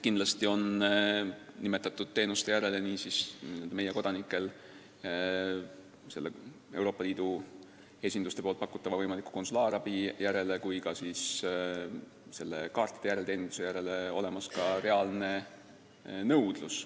Kindlasti on nimetatud teenuste järele – nii Euroopa Liidu esinduste pakutava konsulaarabi järele kui ka sertifikaatide järelteeninduse järele – olemas ka meie kodanike reaalne nõudlus.